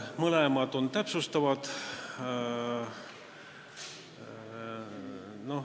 Mõlemad on täpsustavad.